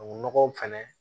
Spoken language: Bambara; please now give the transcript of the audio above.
O nɔgɔw fɛnɛ